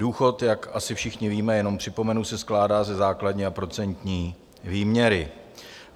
Důchod, jak asi všichni víme, jenom připomenu, se skládá ze základní a procentní výměry.